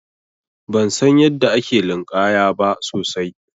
Ban san yadda ake linƙaya ba sosai.